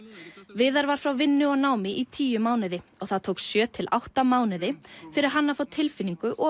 viðar frá vinnu og námi í tíu mánuði og það tók sjö til átta mánuði fyrir hann að fá tilfinningu og